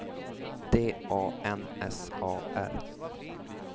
D A N S A R